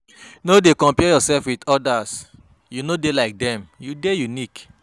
No dey compare um yoursef wit odas, you no dey like dem, you dey unique.